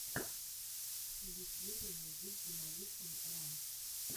в ютьюбе найди демолишен ранч